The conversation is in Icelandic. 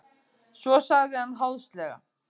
Svo sagði hann háðslega.